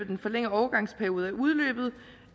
den forlængede overgangsperiode er udløbet